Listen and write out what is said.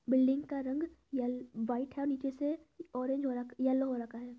Building का रंग एल वाइट है। नीचे से ऑरेंज हो र येलो हो रखा है।